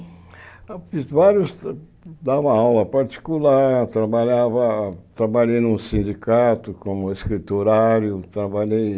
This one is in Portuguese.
Eu fiz vários, dava aula particular, trabalhava, trabalhei num sindicato como escriturário, trabalhei...